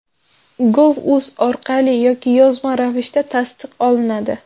gov.uz orqali yoki yozma ravishda tasdiq olinadi.